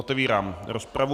Otevírám rozpravu.